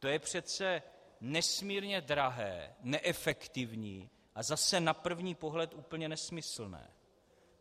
To je přece nesmírně drahé, neefektivní a zase na první pohled úplně nesmyslné.